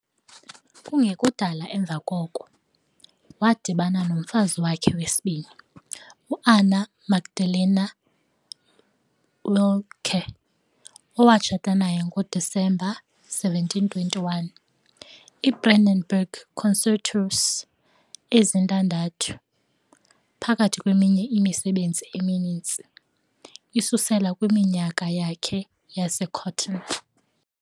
Kungekudala emva koko, wadibana nomfazi wakhe wesibini, u-Anna Magdalena Wilcke, owatshata naye ngoDisemba 1721. IBrandenburg Concertos ezintandathu, phakathi kweminye imisebenzi emininzi, isusela kwiminyaka yakhe yaseCöthen.